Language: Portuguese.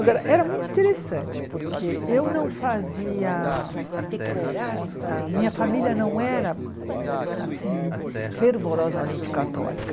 Agora, era muito interessante, porque eu não fazia ah ah... A minha família não era, assim, fervorosamente católica.